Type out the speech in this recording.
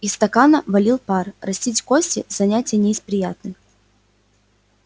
из стакана валил пар растить кости занятие не из приятных